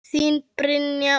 Þín Brynja og Sævar.